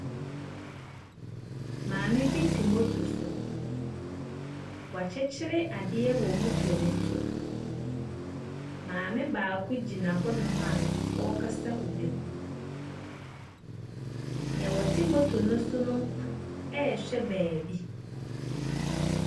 Maame bi te moto so. W'akyekyere adeɛ wɔ moto ne to. Maame baako gyina hɔ nom a ɔɔkasa ɔbi ho. Neɛ ɔte moto ne so no, ɛɛhwɛ baabi.